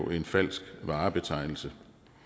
er en falsk varebetegnelse